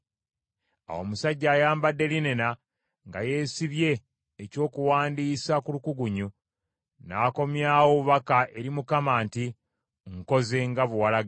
Awo omusajja ayambadde linena nga yeesibye ebyokuwandiisa ku lukugunyu n’akomyawo obubaka eri Mukama nti, “Nkoze nga bwe walagidde.”